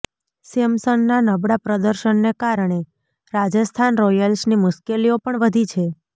સેમસનના નબળા પ્રદર્શનને કારણે રાજસ્થાન રોયલ્સની મુશ્કેલીઓ પણ વધી છે